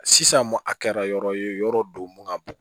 Sisan a kɛra yɔrɔ ye yɔrɔ don mun